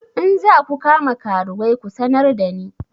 In za ku kama karuwai ku sanar da ni!